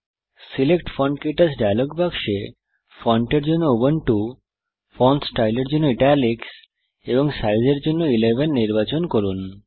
select font ক্টাচ dialog বাক্সে font এর জন্য উবুন্টু ফন্ট স্টাইল এর জন্য ইটালিক্স এবং সাইজ এর জন্য 11 নির্বাচন করুন